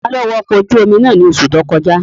Taló wa ọkọ̀ ojú-omi náà ní oṣù tó kọjá?